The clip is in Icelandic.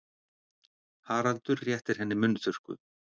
Haraldur réttir henni munnþurrku.